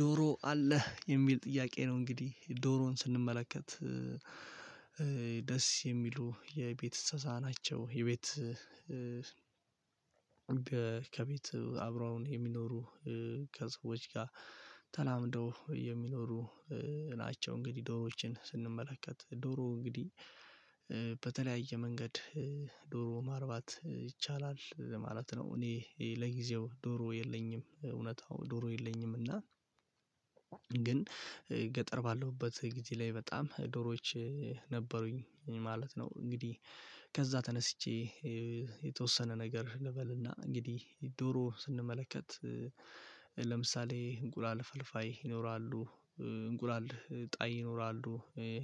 ዶሮ አለህ የሚል ጥያቄ ነው እንግዲህ ዶሮን ስንመለከት ደስ የሚሉ የቤት እንስሳ ናቸው። የቤት ከቤት አብረውን የሚኖሩ ከሰዎች ጋር ተላምደው የሚኖሩ ናቸው። እንግዲህ ዶሮዎችን ስንመለከት ዶሮ እንግዲህ በተለያየ መንገድ ዶሮ ማርባት ይቻላል ማለት ነው። እኔ ለጊዜው ዶሮ የለኝም እውነታው ዶሮ የለኝም። እና ግን ገጠር ባለሁበት ጊዜ ላይ በጣም ዶሮዎች ነበሩኝ ማለት ነው። እንግዲህ ከዛ ተነስቼ የተወሰነ ነገር ልበልና እንግዲህ ዶሮ ስንመለከት ለምሳሌ እንቁላል ፈልፋይ ይኖራሉ። እንቁላል ጣይ ይኖራሉ